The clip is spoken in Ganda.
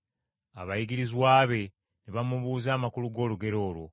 Abayigirizwa be ne bamubuuza amakulu g’olugero olwo.